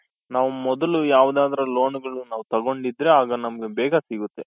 ನಾವು ಮೊದಲು ಯಾವ್ದಾದ್ರು loanಗಳು ನಾವ್ ತಗೊಂಡಿದ್ರೆ ಅಗ ನಮ್ಗೆ ಬೇಗ ಸಿಗುತ್ತೆ.